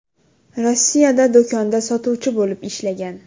Rossiyada do‘konda sotuvchi bo‘lib ishlagan.